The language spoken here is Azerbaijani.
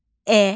E.